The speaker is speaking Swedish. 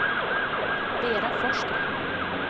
Vera Forsgren